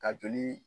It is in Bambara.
Ka joli